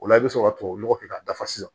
O la i bɛ sɔrɔ ka tubabu nɔgɔ kɛ k'a dafa sisan